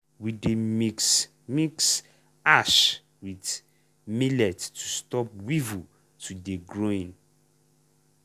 we dey mix mix ash with millet to stop weevil to dey growing.